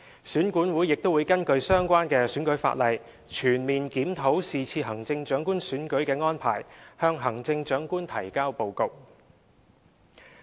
選管會亦會根據相關選舉法例，全面檢討是次行政長官選舉的安排，向行政長官提交報告。